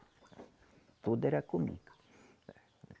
Tudo era comigo.